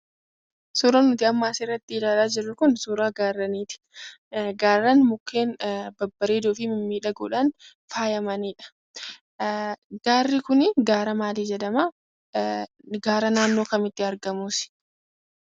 Suuraan nuti amma asirratti ilaalaa jirru Kun, suuraa gaarreeniiti. Gaarreen mukkeen babbareedoo fi mimmiidhagoodhaan faayamaniidha. Gaarri Kun gaara maalii jedhama?, gaara naannoo kamitti argamus?